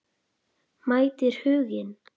Mætir Huginn?